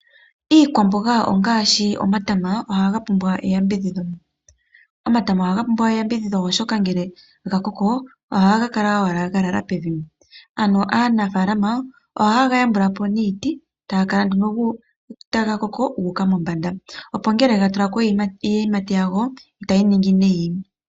Iikwamboga ngaashi omatama ohaga pumbw eyambidhidhi. Omatama ohaga pumbwa eyambidhidho oshoka ngele ga koko ohaga kala owala ga lala pevi, ano aanafaalama ohayega yambulapo niiti tagakala nduno taga koko gu uka mombanda opo ngele gatulako iiyimati yago itayi nongi nayi